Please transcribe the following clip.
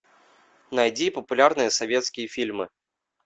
найди популярные советские фильмы